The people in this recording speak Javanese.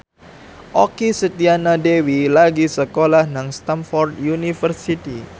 Okky Setiana Dewi lagi sekolah nang Stamford University